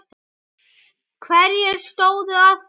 Hverjir stóðu að því?